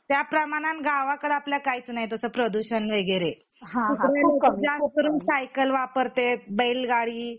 त्या प्रमाणात गावाकडे आपल्या काहीच नाही तस प्रदूषण वगैरे इकडे लोक जास्त करून सायकल वापरतेत बैल गाडी